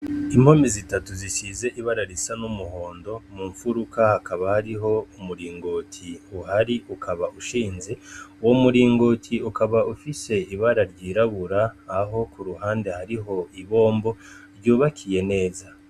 Impome zitatu zisize ibara risa n'umuhondo mu nfuruka hakaba hariho umuringoti uhari ukaba ushinze umuringoti ukaba ufise ibara ryirabura aho kuruhande hari ibombo ryubakiye neza.